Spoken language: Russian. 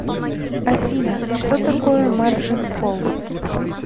афина что такое маржин колл